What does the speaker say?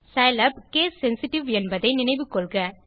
Scilab case sensitive என்பதை நினைவில் கொள்ளுங்கள்